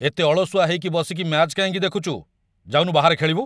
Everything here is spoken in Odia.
ଏତେ ଅଳସୁଆ ହେଇକି ବସିକି ମ୍ୟାଚ୍ କାହିଁକି ଦେଖୁଚୁ? ଯାଉନୁ ବାହାରେ ଖେଳିବୁ?